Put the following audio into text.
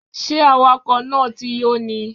Ṣé awakọ̀ náà ti yó ni?